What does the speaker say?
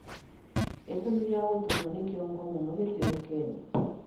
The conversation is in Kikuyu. Gitumi gĩa gũturwo nĩ mũtwe mũno gĩtiũĩkaine